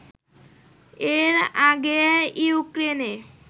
এর আগে ইউক্রেনে